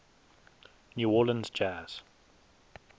new orleans jazz